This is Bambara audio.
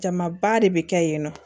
Jamaba de bɛ kɛ yen nɔ